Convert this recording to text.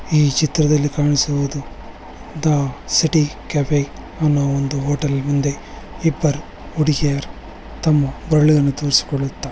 ಈ ಚಿತ್ರದಲ್ಲಿ ಕಾಣಿಸುವುದು ದ ಸಿಟಿ ಕೆಫೆ ಅನ್ನೋ ಒಂದು ಹೋಟೆಲ್ ಮುಂದೆ ಇಬ್ಬರು ಹುಡುಗಿಯರು ತಮ್ಮ ಬೇರಳು ಅನ್ನು ತೋರ್ಸುಕೊಳ್ಳುತ್ತ --